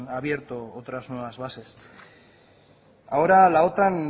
abierto otras nuevas bases ahora la otan